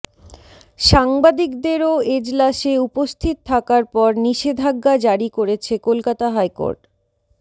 সাংবাদিকদেরও এজলাসে উপস্থিত থাকার ওপর নিষেধাজ্ঞা জারি করেছে কলকাতা হাইকোর্ট